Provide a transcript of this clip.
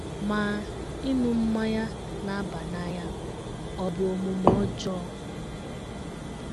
Ma, ịṅụ mmanya na - aba n’anya ọ̀ bụ omume ọjọọ?